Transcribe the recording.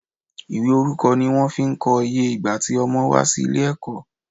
Ìwé orúkọ ni wón fi ko iye ìgbà ti Ọmọ wà sí ilé èkó